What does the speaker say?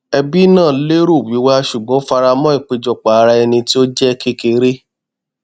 ẹbí náà lérò wíwá ṣùgbọn ó faramọ ìpéjọpọ ara ẹni tí ó jẹ kékeré